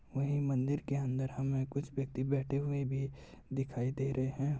और मंदिर के अंदर हमें कुछ व्यक्ति बैठे हुए भी दिखाई दे रहे।